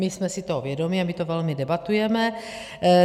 My jsme si toho vědomi a my to velmi debatujeme.